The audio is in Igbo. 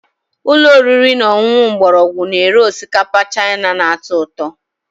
Ụlọ oriri na ọṅụṅụ mgbọrọgwụ na-ere osikapa Chaina na-atọ ụtọ